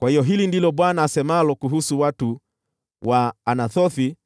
“Kwa hiyo hili ndilo Bwana asemalo kuhusu watu wa Anathothi